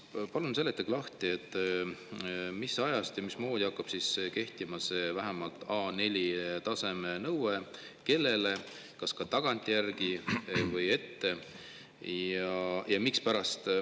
Palun seletage lahti, mis ajast ja mismoodi hakkab kehtima see vähemalt A4-taseme nõue, kellele, kas ka tagantjärgi või ette ja mispärast.